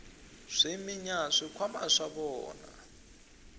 swi minya swikhwama swa vona